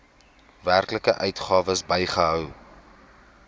werklike uitgawes bygehou